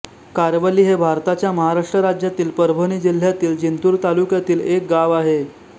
कारवली हे भारताच्या महाराष्ट्र राज्यातील परभणी जिल्ह्यातील जिंतूर तालुक्यातील एक गाव आहे